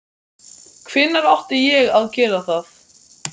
Bernharður, hvenær kemur vagn númer þrettán?